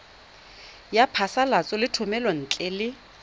ya phasalatso ya thomelontle le